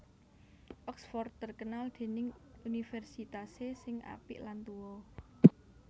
Oxford terkenal dening universitase sing apik lan tuo